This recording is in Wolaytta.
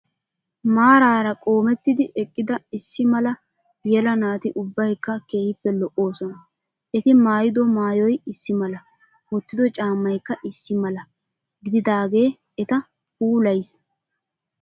Maraara qoomettidi eqqida issi mala yela naati ubbayikka keehippe lo''oosona. Eti maayyido maayyoyi issi mala wottido caammayikka issi mala gididaage eta puulayis.